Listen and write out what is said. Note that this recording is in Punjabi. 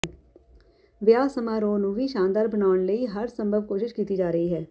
ਵਿਆਹ ਸਮਾਰੋਹ ਨੂੰ ਵੀ ਸ਼ਾਨਦਾਰ ਬਣਾਉਣ ਦੇ ਲਈ ਹਰ ਸੰਭਵ ਕੋਸ਼ਿਸ਼ ਕੀਤੀ ਜਾ ਰਹੀ ਹੈ